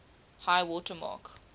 high water mark